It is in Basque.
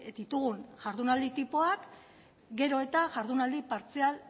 ditugun jardunaldi tipoak gero eta jardunaldi partzial